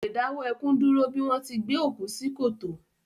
Kò le dáwọ́ ẹkún dúró bí wọ́n ti gbé òkú sí kòtò